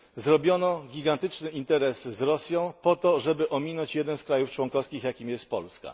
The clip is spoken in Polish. Zrobiono gigantyczne interesy z Rosją po to, żeby ominąć jeden z krajów członkowskich Unii, jakim jest Polska.